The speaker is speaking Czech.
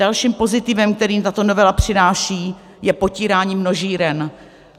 Dalším pozitivem, kterým tato novela přináší, je potírání množíren.